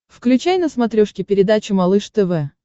включай на смотрешке передачу малыш тв